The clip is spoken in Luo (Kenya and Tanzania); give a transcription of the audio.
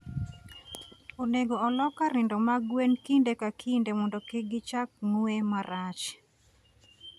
Onego olok kar nindo mag gwen kinde ka kinde mondo kik gichak ng'we marach.